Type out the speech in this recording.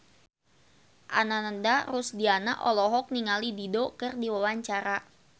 Ananda Rusdiana olohok ningali Dido keur diwawancara